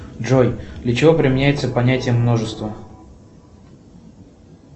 джой для чего применяется понятие множество